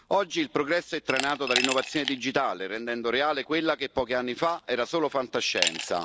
Oggi il progresso è trainato dall'innovazione digitale, rendendo reale quella che pochi anni fa era solo fantascienza.